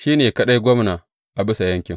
Shi ne kaɗai gwamna a bisa yankin.